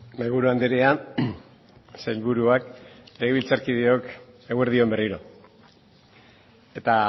mahaiburu andrea sailburuak legebiltzarkideok eguerdi on berriro eta